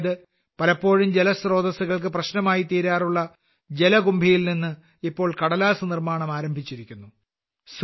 അതായത് പലപ്പോഴും ജലസ്ത്രോതസ്സുകൾക്ക് പ്രശ്നമായി തീരാറുള്ള ജലകുംഭിയിൽനിന്ന് ഇപ്പോൾ കടലാസ്സ് നിർമ്മാണം ആരംഭിച്ചിരിക്കുന്നു